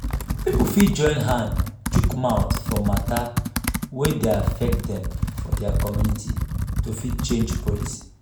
pipo fit join hand chook mouth for mata wey dey affect dem for their community to fit change policy